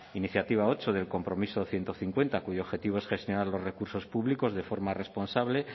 iniciativa ocho del compromiso ciento cincuenta cuyo objetivo es gestionar los recursos públicos de forma responsable